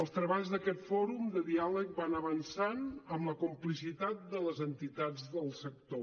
els treballs d’aquest fòrum de diàleg van avançant amb la complicitat de les entitats del sector